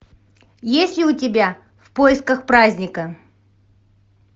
есть ли у тебя в поисках праздника